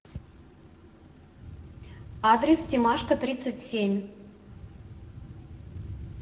адрес семашко тридцать семь